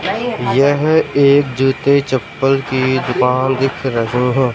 यह एक जूते चप्पल की दुकान दिख रहें हैं।